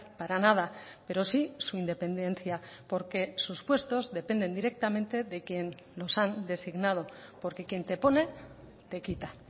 para nada pero sí su independencia porque sus puestos dependen directamente de quien los han designado porque quien te pone te quita